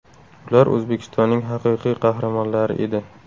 Ular O‘zbekistonning Haqiqiy Qahramonlari edi.